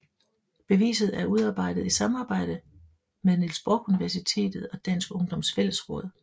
Beviset er udarbejdet i samarbejde Niels Brock Universitet og Dansk Ungdoms Fællesråd